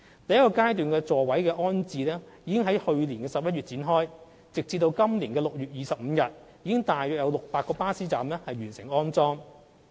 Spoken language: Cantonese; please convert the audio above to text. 第一階段的座椅安裝工作已於去年11月展開，截至今年6月25日，已有約600個巴士站完成安裝。